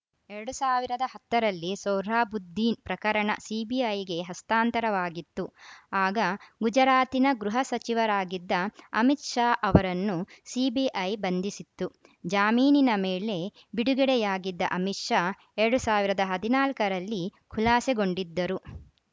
ಎರಡ್ ಸಾವಿರದ ಹತ್ತ ರಲ್ಲಿ ಸೊಹ್ರಾಬುದ್ದೀನ್‌ ಪ್ರಕರಣ ಸಿಬಿಐಗೆ ಹಸ್ತಾಂತರವಾಗಿತ್ತು ಆಗ ಗುಜರಾತಿನ ಗೃಹ ಸಚಿವರಾಗಿದ್ದ ಅಮಿತ್‌ ಶಾ ಅವರನ್ನು ಸಿಬಿಐ ಬಂಧಿಸಿತ್ತು ಜಾಮೀನಿನ ಮೇಲೆ ಬಿಡುಗಡೆಯಾಗಿದ್ದ ಅಮಿತ್‌ ಶಾ ಎರಡ್ ಸಾವಿರದ ಹದಿನಾಲ್ಕ ರಲ್ಲಿ ಖುಲಾಸೆಗೊಂಡಿದ್ದರು